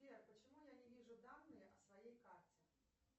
сбер почему я не вижу данные о своей карте